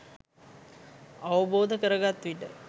අවබෝධ කරගත් විට